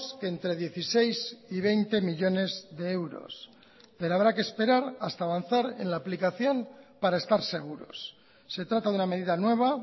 que entre dieciséis y veinte millónes de euros pero habrá que esperar hasta avanzar en la aplicación para estar seguros se trata de una medida nueva